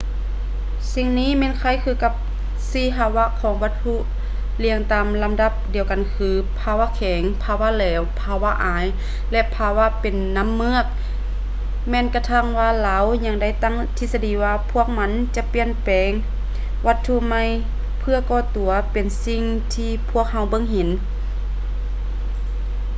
ສິ່ງນີ້ແມ່ນຄ້າຍຄືກັບ ສີ່ພາວະຂອງວັດຖຸ ລຽງຕາມລຳດັບດຽວກັນ ຄື: ພາວະແຂງ ພາວະແຫຼວ ພາວະອາຍ ແລະ ພາວະເປັນນ້ຳເມືອກ ແມ່ນກະທັ່ງວ່າລາວຍັງໄດ້ຕັ້ງທິດສະດີວ່າ ພວກມັນຈະປ່ຽນເປັນວັດຖຸໃໝ່ເພື່ອກໍ່ຕົວເປັນສິ່ງທີ່ພວກເຮົາເບິ່ງເຫັນ